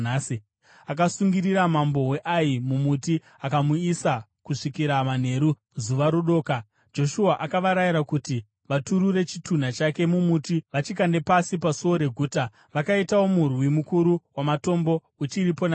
Akasungirira mambo weAi mumuti akamusiya kusvikira manheru. Zuva rodoka, Joshua akavarayira kuti vaturure chitunha chake mumuti vachikande pasi pasuo reguta. Vakaitawo murwi mukuru wamatombo, uchiripo nanhasi.